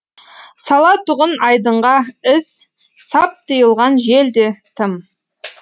салатұғын айдынға із сап тиылған жел де тым